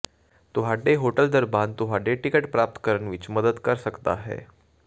ਤੁਹਾਡੇ ਹੋਟਲ ਦਰਬਾਨ ਤੁਹਾਡੇ ਟਿਕਟ ਪ੍ਰਾਪਤ ਕਰਨ ਵਿੱਚ ਮਦਦ ਕਰ ਸਕਦਾ ਹੈ